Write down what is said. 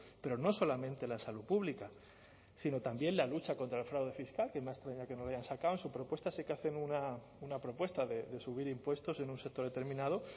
pero no solamente la salud pública sino también la lucha contra el fraude fiscal que me ha extrañado que no lo hayan sacado en su propuesta sí que hacen una propuesta de subir impuestos en un sector determinado